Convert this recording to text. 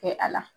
Kɛ a la